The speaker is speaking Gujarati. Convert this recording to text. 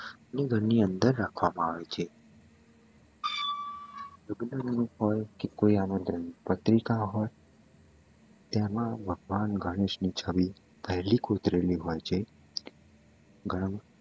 ઘરની અંદર રાખવામાં આવે છે પત્રિકા હોય તેમાં ભગવાન ગણેશની છબી પેહલી કોતરેલી હોય છે